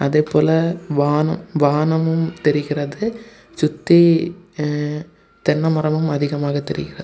அதேபோல வானம் வானமும் தெரிகிறது சுத்தி தென்ன மரமும் அதிகமாக தெரிகிறது.